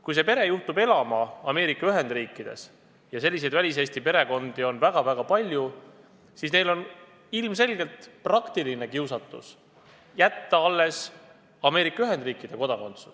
Kui see pere juhtub elama Ameerika Ühendriikides – ja selliseid väliseesti perekondi on väga-väga palju –, siis neil on ilmselgelt kiusatus jätta alles Ameerika Ühendriikide kodakondsus.